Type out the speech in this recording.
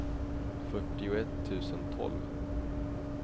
fyrtioett tusen tolv